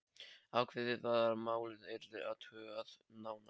Ákveðið var að málið yrði athugað nánar.